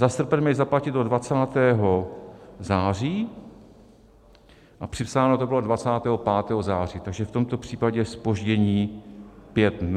Za srpen měli zaplatit do 20. září a připsáno to bylo 25. září, takže v tomto případě zpoždění pět dnů.